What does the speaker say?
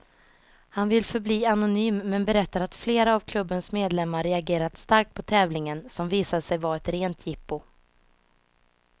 Han vill förbli anonym, men berättar att flera av klubbens medlemmar reagerat starkt på tävlingen, som visade sig var ett rent jippo.